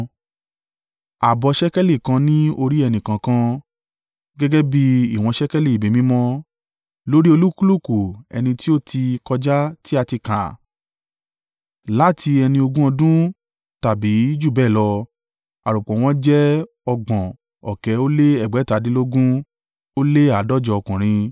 ààbọ̀ ṣékélì kan ní orí ẹnìkọ̀ọ̀kan, gẹ́gẹ́ bí ìwọ̀n ṣékélì ibi mímọ́, lórí olúkúlùkù ẹni tí ó ti kọjá tí a ti kà, láti ẹni ogún ọdún tàbí jù bẹ́ẹ̀ lọ, àròpọ̀ wọ́n jẹ́ ọgbọ̀n ọ̀kẹ́ lé ẹgbẹ̀tadínlógún ó lé àádọ́jọ (603,550) ọkùnrin.